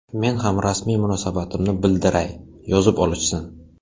Men ham rasmiy munosabatimni bildiray, yozib olishsin.